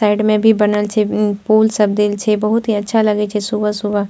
Side में भी बनल छे पोल सब देल छे बहुत ही अच्छा लगइ छे सुबह-सुबह।